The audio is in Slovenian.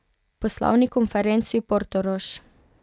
Poslovni konferenci Portorož.